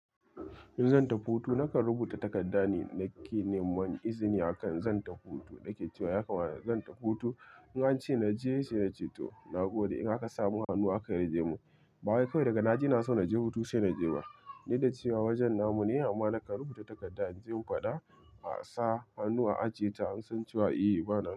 In zan tafi hutu, nakan rubuta takardane dake neman izini akan zan tafi hutu. Dake cewa ya kamata zan tafi hutu. In ance naje sai nace to. Na gode in aka samun hannu aka yarjemin. Bawai kawai daga naji ina so naje hutu sai naje ba. Dukda cewa wajen namu ne, amma nakan rubuta takarda inje in fada a sa hannu a ajeta. An san cewa eh bananan.